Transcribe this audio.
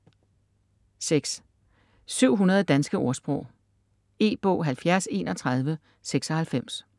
700 danske ordsprog E-bog 703196